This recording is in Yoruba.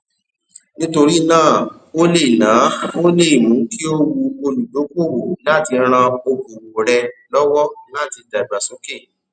nítorí náà o lé náà o lé è mú kí ó wù olùdókòwò láti ran okòwò rẹ lọwọ láti dàgbà sókè